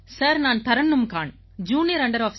sir நான் Tarannum Khan junior under